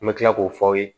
An bɛ tila k'o f'aw ye